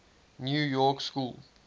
new york school